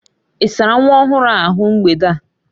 Ị sárá nwa ọhụrụ a ahụ mgbede a?